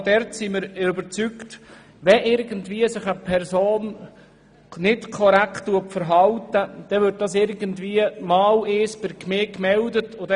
Aber auch dort sind wir überzeugt, dass es irgendwann bei der Gemeinde gemeldet würde, wenn sich eine Person nicht korrekt verhalten sollte.